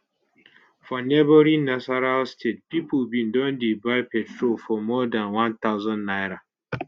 for neighbouring nasarawa state pipo bin don dey buy petrol for more dan 1000 naira